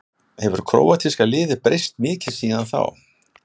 Hefur króatíska liðið breyst mikið síðan þá?